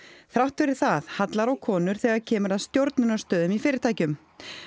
þrátt fyrir það hallar á konur þegar kemur að stjórnunarstöðum í fyrirtækjum